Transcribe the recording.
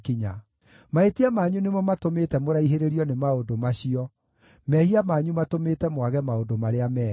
Mahĩtia manyu nĩmo matũmĩte mũraihĩrĩrio nĩ maũndũ macio; mehia manyu matũmĩte mwage maũndũ marĩa mega.